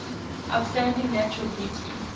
outstanding natural beauty